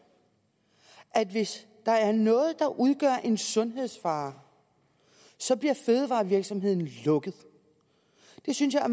at hvis der er noget der udgør en sundhedsfare bliver fødevarevirksomheden lukket det synes jeg er